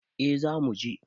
A za muje